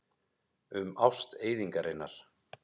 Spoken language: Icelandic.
Um ást eyðingarinnar.